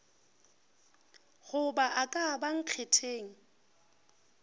goba a ka ba nkgetheng